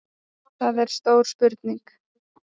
Það er stór spurning